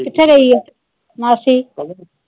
ਕਿੱਥੇ ਗਈ ਆ, ਮਾਸੀ?